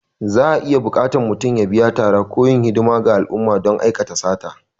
Za'a iya buƙatar mutum ya biya tara ko yin hidimar ga al'umma don aikata sata.